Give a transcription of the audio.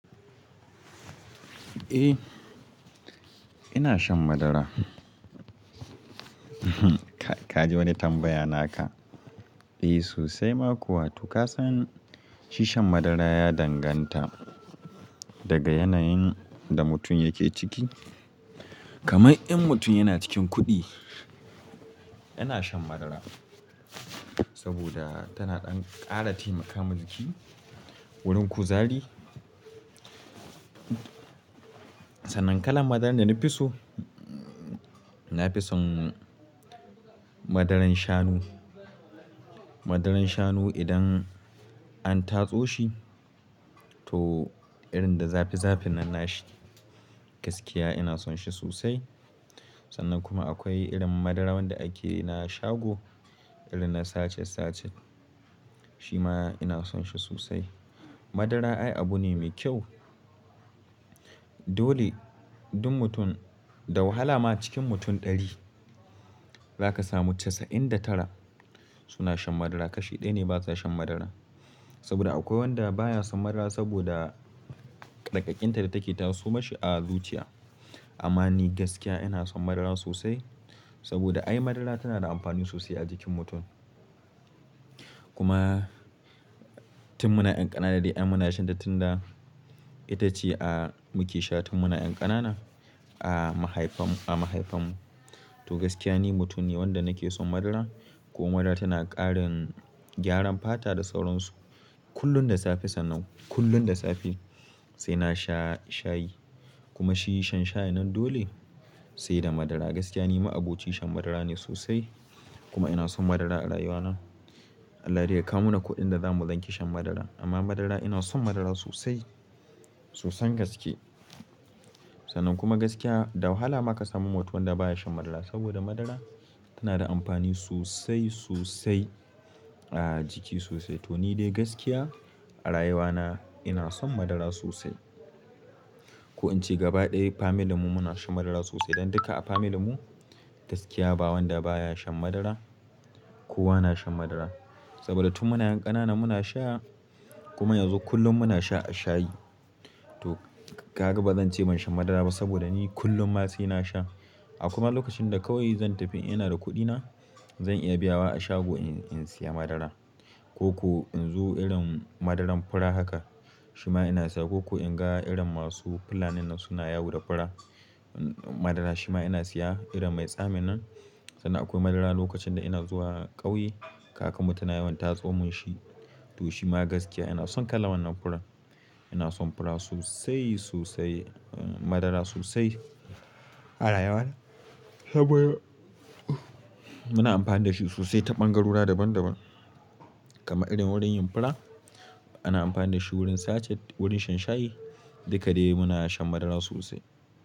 Eh ina shan madara. Ka ji wani tambaya naka? Eh sosai ma kuwa. To ka san shi shan madara ya danganta, daga yanayin da mutum yake ciki. Kaman in mutum yana cikin kuɗi yana shan madara saboda tana ɗan ƙara taimaka mai wurin kuzari. Sannan kalan madaran da na fi so, na fi son madaran shanu. Madaran shanu idan an tatso shi, to irin da zafi zafin nan na shi gaskiya ina son shi sosai. Sannan kuma akwai irin madara wanda akeyu na shago irin na sacet sacet shi ma ina son shi sosai. Madara ai abu ne mai kyau. Dole duk mutum da wahala ma cikin mutum ɗari zaka samu casa'in da tara suna shan madara kashi ɗaya ne ba za shan madara. Saboda akwai wanda baya son madara saboda daƙaƙƙinta da take taso mashi a zuciya. Amma ni gaskiya ina son madara sosai saboda ai madara tana da amfani sosai a jikin mutum. Kuma tun muna ƴan ƙanana dai ai muna shan ta tun da ita ce a muke sha tun muna ƴan ƙanana a mahaifan mu. To gaskiya ni mutum ne wanda nake son madara kuma madara tana ƙarin gyaran fata da sauransu. Kullum da safe sannan kullum da safe sai na sha shayi kuma shi shan shayin nan dole sai da madara. Gaskiya ni ma'aboci shan madara ne sosai kuma ina son madara a rayuwana. Allah dai ya kawo mana kuɗin da zamu zage shan madara. Amma madara ina son madara sosai sosan gaske. Sannan kuma gaskiya da wahala ma ka samu mutum wanda baya shan madara saboda madara tana da amfani sosai, sosai a jiki sosai. To ni dai gaskiya a rayuwana ina son madara sosai. Ko in ce gaba ɗaya family mu muna shan madara sosai. Dan duka a family mu gaskiya ba wanda baya shan madara kowa na shan madara. Saboda tun muna ƴan ƙanana muna sha kuma yanzu kullum muna sha a shayi. To ka ga ba zan ce ban shan madara ba saboda ni kullum ma sai na sha. A kuma lokacin da kawai zan tafi ina da kuɗina zan iya biya wa a shago in siya madara. Ko ko in zo irin madaran fura haka shi ma ina siya, ko ko in ga irin masu fulanin nan suna yawo da fura madara shi ma ina siya, irin mai tsamin nan. Sannan akwai madara lokacin da ina zuwa ƙauye, kaka mutum na yawan tatso mun shi. To shi ma gaskiya ina son kala wannan furan. Ina son fura sosai, sosai, madara sosai a rayuwana. Muna amfani da shi sosai ta ɓangarori daban daban. Kamar irin wurin yin fura ana amfani da shi wurin sacer wurin shan shayi duka dai muna shan madara sosai.